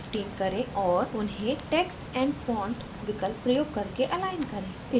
font size को 15 करें और उन्हें text and font विकल्प प्रयोग करके अलाइन करें